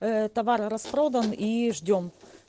товар распродан и ждём